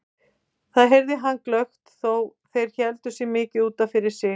Það heyrði hann glöggt þó þeir héldu sig mikið út af fyrir sig.